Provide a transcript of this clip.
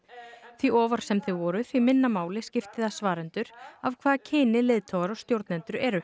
því ofar sem þau voru því minna máli skipti það svarendur af hvaða kyni leiðtogar og stjórnendur eru